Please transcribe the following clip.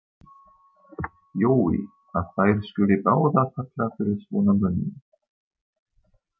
Jói, að þær skuli báðar falla fyrir svona mönnum.